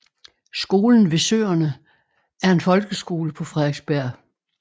Skolen ved søerne er en folkeskole på Frederiksberg